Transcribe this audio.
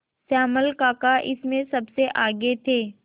श्यामल काका इसमें सबसे आगे थे